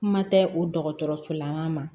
Kuma tɛ o dɔgɔtɔrɔsolama ma